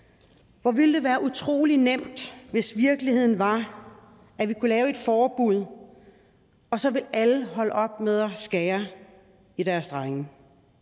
hvor ville det være utrolig nemt hvis virkeligheden var at vi kunne lave et forbud og så ville alle holde op med at skære i deres drenge